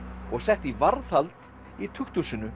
og sett í varðhald í